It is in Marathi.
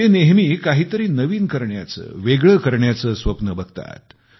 ते नेहमी काहीतरी नवीन करण्याचे वेगळे करण्याचे स्वप्न बघतात